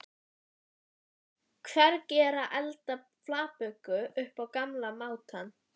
Hvernig er að elda flatböku upp á gamla mátann?